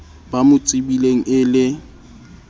ba mo tsebileng e le